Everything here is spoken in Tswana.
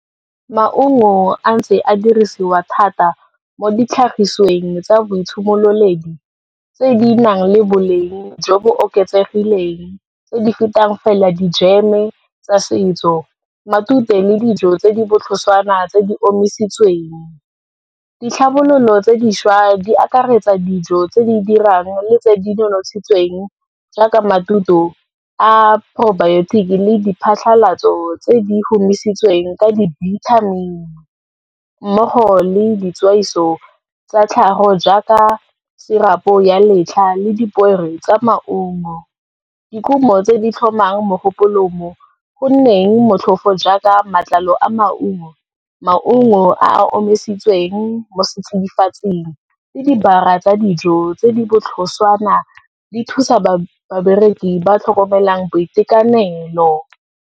Maungo a ntse a dirisiwa thata mo ditlhagisweng tsa boitshimololedi, tse di nang le boleng jo bo oketsegileng, tse di fetang fela dijeme tsa setso, matute le dijo tse di botlhoswana tse di omisitsweng. Ditlhabololo tse dišwa di akaretsa dijo tse di dirang le tse di nonontshitsweng, jaaka a probiotic le diphatlhalatso tse di humisitsweng ka dibithamini, mmogo le ditswaiso tsa tlhago jaaka sirapo ya letlha le dipoere tsa maungo. Dikhumo tse di tlhomang mogopolo mo, gonneng motlhofo jaaka maatlalo a maungo, maungo a a omisitsweng mo setsidifatsing le dijara tsa dijo tse di botlhoswana di thusa babereki ba ba tlhokomelang boitekanelo.